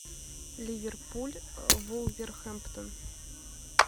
ливерпуль вулверхэмптон